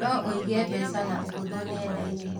No ũige mbeca na ũhũthũ nenda-inĩ.